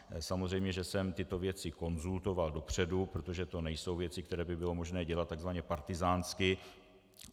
Samozřejmě že jsem tyto věci konzultoval dopředu, protože to nejsou věci, které by bylo možné dělat takzvaně partyzánsky.